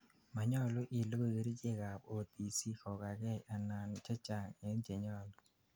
manyalu ilugui kerichek ab OTC kogakei anan chechang en chenyalu